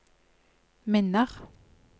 minner